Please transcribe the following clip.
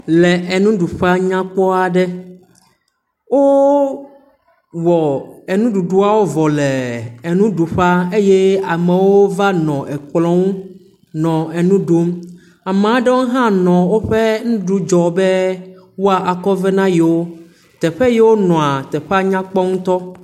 Le enuƒe nyakpɔa aɖe, wowɔ enuɖuɖua vɔ le enuɖuƒea eye amewo va nɔ ekplɔ ŋu nɔ enu ɖum, ame aɖewo hã nɔ woƒe nuɖu dzɔm be woakɔ vɛ ne yewo. Teƒeyewo wonɔa, teƒea nyakpɔ ŋutɔ.